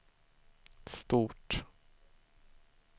stort